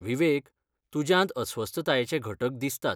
विवेक, तुज्यांत अस्वस्थतायेचे घटक दिसतात.